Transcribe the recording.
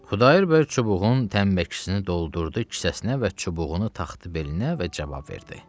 Xudayar bəy çubuğun tənkəkisini doldurdu kisəsinə və çubuğunu taxdı belinə və cavab verdi.